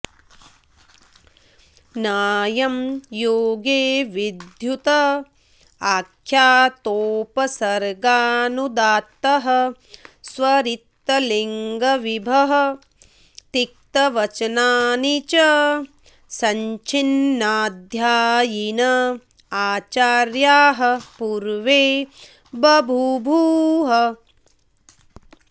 नायं योगे विद्युत आख्यातोपसर्गानुदात्तः स्वरितलिङ्गविभक्तिवचनानि च सञ्च्छिन्नाध्यायिन आचार्याः पूर्वे बभूबुः